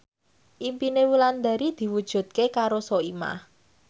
impine Wulandari diwujudke karo Soimah